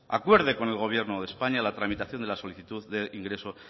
acuerde con el gobierno de españa la tramitación de la solicitud de ingreso